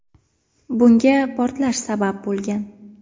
Bunga portlash sabab bo‘lgan.